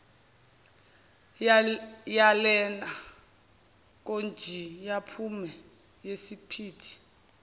yalena konjayiphume yisemphithi